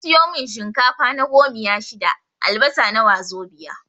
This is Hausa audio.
Sun siyo mun shinkafa na gomiya shida, albasa na wazobiya